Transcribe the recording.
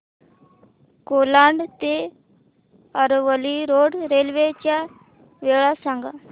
कोलाड ते Aravali road railway च्या वेळा सांग